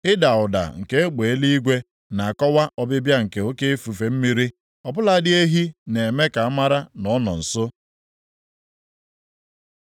Ịda ụda nke egbe eluigwe na-akọwa ọbịbịa nke oke ifufe mmiri; ọ bụladị ehi na-eme ka a mara na ọ nọ nso.